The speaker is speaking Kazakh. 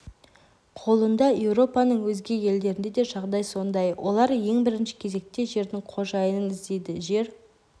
қолында еуропаның өзге елдерінде де жағдай сондай олар ең бірінші кезекте жердің қожайынын іздейді жер